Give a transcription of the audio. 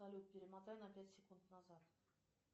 салют перемотай на пять секунд назад